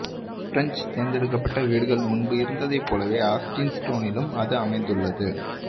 பிரஞ்சு தேர்ந்தெடுக்கப்பட்ட வீடுகள் முன்பு இருந்ததைப் போலவே ஆஸ்டின் ஸ்டோனிலும் அது அமைந்துள்ளது